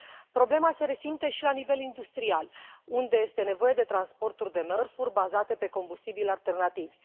Problema se resimte și la nivel industrial, unde este nevoie de transporturi de mărfuri bazate pe combustibili alternativi.